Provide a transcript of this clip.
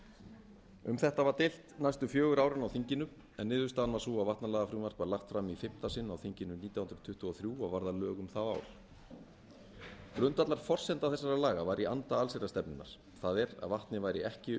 um þetta var deilt næstu fjögur árin á þinginu en niðurstaðan var sú að vatnalagafrumvarp var lagt fram í fimmta sinn á þinginu nítján hundruð tuttugu og þrjú og varð að lögum það ár grundvallarforsenda þessara laga var í anda allsherjarstefnunnar það er að vatnið væri ekki